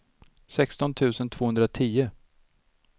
sexton tusen tvåhundratio